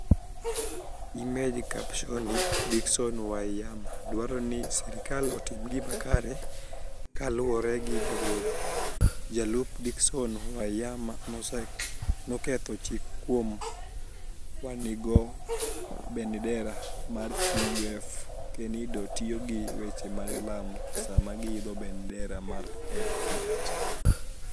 Image captioni Dicksoni Waniyama dwaro nii sirkal otim gima kare Kaluwore gi jagoro, jolup Dicksoni Waniyama noketho chik kuom wanig'o benidera mag CUF kenido tiyo gi weche mag lamo sama giidho benidera mar ACT.